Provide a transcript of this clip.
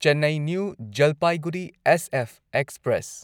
Chennai new Jalpaiguri SF express